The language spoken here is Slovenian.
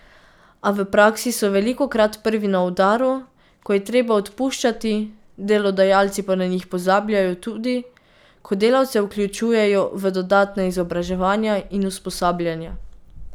A v praksi so velikokrat prvi na udaru, ko je treba odpuščati, delodajalci pa na njih pozabljajo tudi, ko delavce vključujejo v dodatna izobraževanja in usposabljanja.